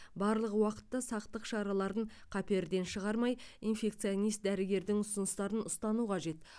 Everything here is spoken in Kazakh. барлық уақытта сақтық шараларын қаперден шығармай инфекционист дәрігердің ұсыныстарын ұстану қажет